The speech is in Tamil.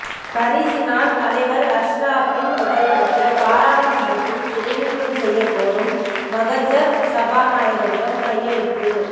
ஹரீஸினால் தலைவர் அஷ்ரஃபின் புகைப்படத்தை பாராளுமன்றத்தில் திரைநீக்கம் செய்யக் கோரும் மகஜர் சபாநாயகரிடம் கையளிப்பு